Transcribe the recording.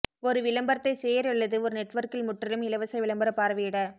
ஒரு விளம்பரத்தை சேர் அல்லது ஒரு நெட்வொர்க்கில் முற்றிலும் இலவச விளம்பர பார்வையிட